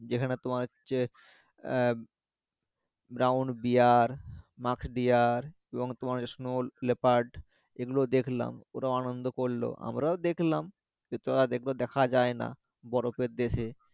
যেখানে তোমার হচ্ছে আহ brown bear এবং তোমার হচ্ছে snow leopard এগুলো দেখলাম ওরাও আনন্দ করলো আমরাও দেখলাম যেহেতু আর ওগুলো দেখা যায় না বরফে দেশে